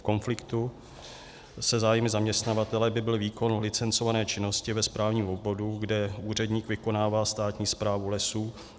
V konfliktu se zájmy zaměstnavatele by byl výkon licencované činnosti ve správním obvodu, kde úředník vykonává státní správu lesů.